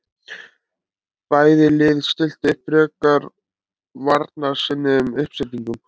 Bæði lið stilltu upp frekar varnarsinnuðum uppstillingum.